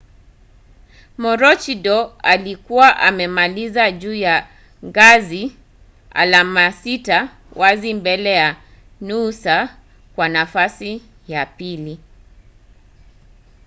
maroochidore ilikuwa imemaliza juu ya ngazi alama sita wazi mbele ya noosa kwa nafasi ya pili